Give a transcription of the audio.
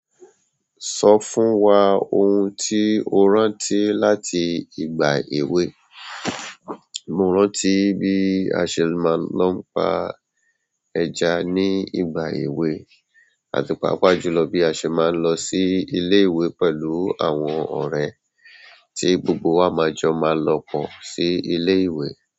Sọ fún wa ohun tí o rántí láti ìgbà èwe. Mo rántí bí a ṣe máa lọ n pa ẹja ní ìgbà èwe àti pàápàá jùlọ bí a ṣe máa ń lọ sí ilé ìwé pẹ̀lú àwọn ọ̀rẹ́ tí gbogbo wa máa jọ máa lọ pọ́ sí ilé ìwé.